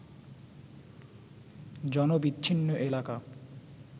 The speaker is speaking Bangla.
জনবিচ্ছিন্ন এলাকা